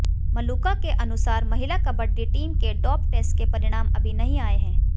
मलूका के अनुसार महिला कबड्डी टीम के डोप टेस्ट के परिणाम अभी नहीं आए हैं